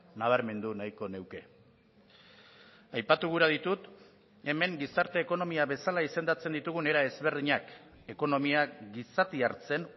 nabarmendu nahiko nuke aipatu gura ditut hemen gizarte ekonomia bezala izendatzen ditugun era ezberdinak ekonomiak gizatiartzen